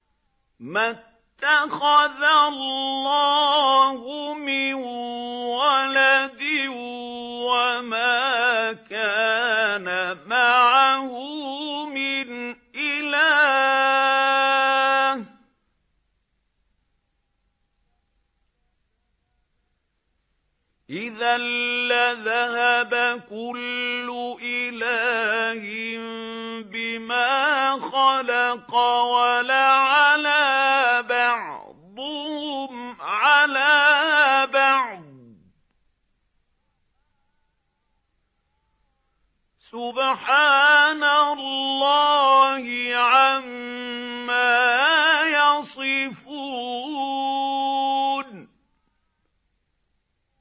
مَا اتَّخَذَ اللَّهُ مِن وَلَدٍ وَمَا كَانَ مَعَهُ مِنْ إِلَٰهٍ ۚ إِذًا لَّذَهَبَ كُلُّ إِلَٰهٍ بِمَا خَلَقَ وَلَعَلَا بَعْضُهُمْ عَلَىٰ بَعْضٍ ۚ سُبْحَانَ اللَّهِ عَمَّا يَصِفُونَ